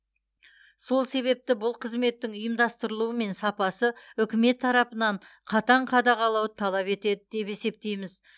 сол себепті бұл қызметтің ұйымдастырылуы мен сапасы үкімет тарапынан қатаң қадағалауды талап етеді деп есептейміз